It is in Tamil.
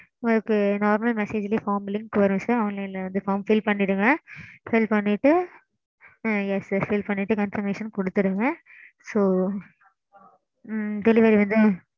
okay mam ok mam